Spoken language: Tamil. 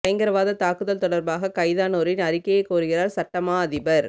பயங்கரவாதத் தாக்குதல் தொடர்பாக கைதானோரின் அறிக்கையை கோருகிறார் சட்ட மா அதிபர்